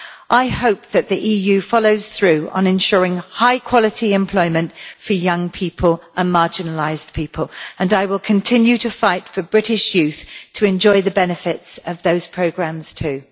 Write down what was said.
I hope that the EU follows through on ensuring high quality employment for young people and marginalised people and I will continue to fight for British youth to enjoy the benefits of those programmes too.